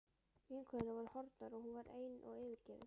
Vinkonurnar voru horfnar og hún var ein og yfirgefin.